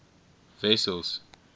wessels